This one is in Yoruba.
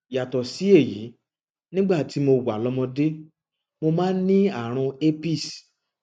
yàtọ sí èyí nígbà tí mo wà lọmọdé mo máa ń ní ààrùn herpes